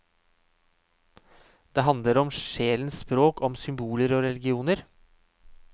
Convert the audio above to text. Den handler om sjelens språk, om symboler og religioner.